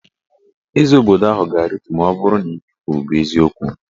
Eze obodo ahụ ga-aritu maọbụrụ na ihe ekwuru bụ eziokwu